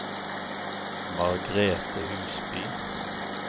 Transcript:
Margrethe Husby